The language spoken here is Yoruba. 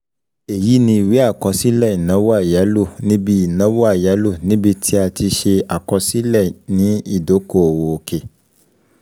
Èyí ni iwe àkọsílẹ̀ ìnáwó àyálò níbi ìnáwó àyálò níbi tí a ti ṣe àkọsílẹ̀ ni ìdókòwò òkè